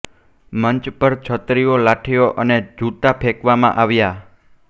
મંચ પર છત્રીઓ લાઠીઓ અને જૂતાં ફેંકવામાં આવ્યા